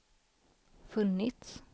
funnits